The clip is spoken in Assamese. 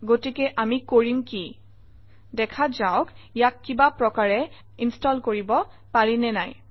গতিকে আমি কৰিম কি দেখা যাওক ইয়াক কিবা প্ৰকাৰে ইনষ্টল কৰিব পাৰি নে নাই